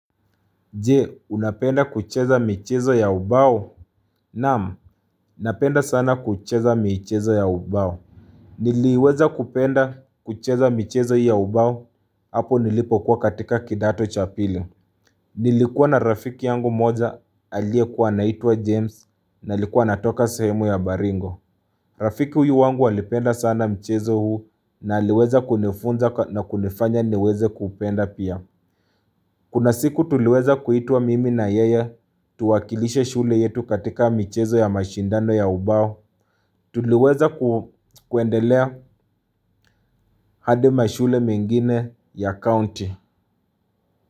Je, unapenda kucheza michezo ya ubao? Naam, napenda sana kucheza michezo ya ubao. Niliweza kupenda kucheza michezo ya ubao, hapo nilipokuwa katika kidato cha pili. Nilikuwa na rafiki yangu mmoja, aliyekuwa anaituwa James, na likuwa anatoka sehemu ya baringo. Rafiki huyu wangu alipenda sana mchezo huu, na liweza kunifunza na kunifanya niweze kuupenda pia. Kuna siku tuliweza kuitwa mimi na yeye, tuwakilishe shule yetu katika michezo ya mashindano ya ubao. Tuliweza kuendelea hadi mashule mengine ya county.